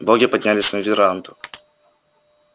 боги поднялись на веранду